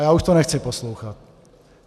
A já to už nechci poslouchat.